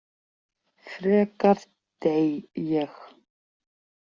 Frekar dey ég